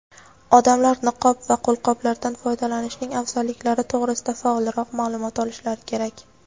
odamlar niqob va qo‘lqoplardan foydalanishning afzalliklari to‘g‘risida faolroq ma’lumot olishlari kerak.